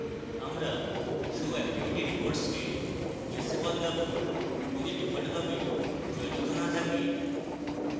আমরা show activity reports কে yes we বদলাবো যদি ডিফল্টভাবে চয়নিত show থাকে